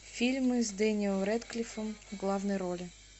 фильмы с дэниэлом рэдклиффом в главной роли